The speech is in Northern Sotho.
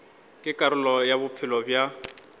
ke karolo ya bophelo bja